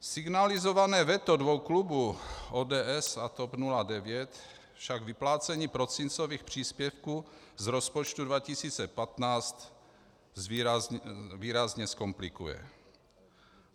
Signalizované veto dvou klubů, ODS a TOP 09, však vyplácení prosincových příspěvků z rozpočtu 2015 výrazně zkomplikuje.